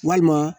Walima